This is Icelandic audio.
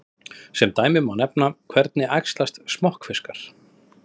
Sem dæmi má nefna: Hvernig æxlast smokkfiskar?